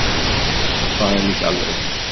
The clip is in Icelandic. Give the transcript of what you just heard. Það er líka alveg rétt.